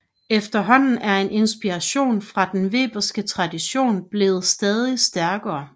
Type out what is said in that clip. Efterhånden er inspirationen fra den weberske tradition blevet stadig stærkere